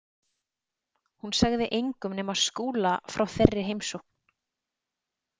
Hún sagði engum nema Skúla frá þeirri heimsókn.